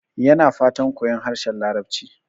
Yana fatan koyon harshen Larabci.